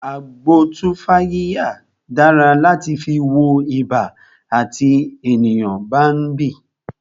Agbo tumfafiya dára láti fi wọ ibà àti tí ènìyàn bá ń bì